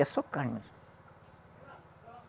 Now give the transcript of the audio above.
É só carne.